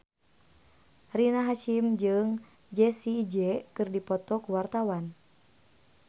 Rina Hasyim jeung Jessie J keur dipoto ku wartawan